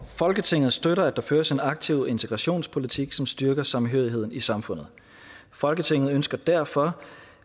folketinget støtter at der føres en aktiv integrationspolitik som styrker samhørigheden i samfundet folketinget ønsker derfor